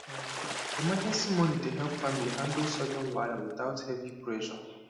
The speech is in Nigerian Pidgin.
um emergency money dey help family handle sudden wahala without heavy pressure